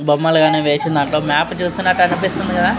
బొమ్మలు గాని వేసిన దాంట్లో మ్యాప్ చూస్తున్నట్టు'అనిపిస్తుంది కదా --